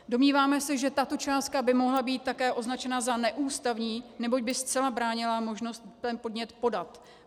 Domníváme se, že tato částka by mohla být také označena za neústavní, neboť by zcela bránila možnost ten podnět podat.